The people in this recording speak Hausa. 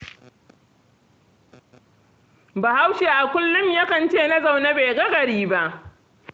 Bahaushe a kullum yakan ce na zaune bai ga gari ba.